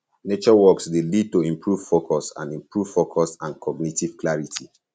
nature walks dey lead to improved focus and improved focus and cognitive clarity